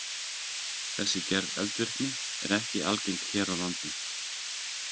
Þessi gerð eldvirkni er ekki algeng hér á landi.